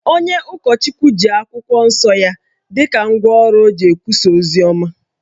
Onye ụkọchukwu ji akwụkwọ nsọ ya dị ka ngwa ọrụ o ji ekwusa oziọma